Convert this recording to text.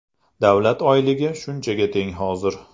Davlat oyligi shunchaga teng hozir.